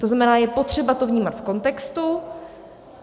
To znamená, je potřeba to vnímat v kontextu.